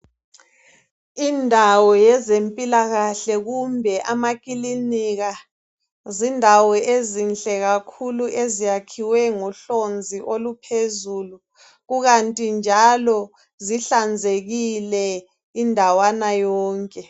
Indawo yeze mpilakahle kumbe amakilinika zindawo ezinhle kakhulu eziyakhiwe ngohlonzi oluphezulu, kukanti njalo zihlanzekile indawana yonke